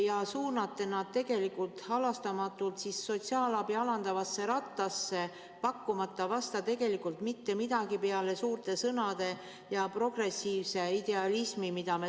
Te suunate nad tegelikult halastamatult sotsiaalabi alandavasse rattasse, pakkumata vastu mitte midagi peale suurte sõnade ja progressiivse idealismi.